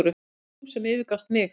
Þú sem yfirgafst mig.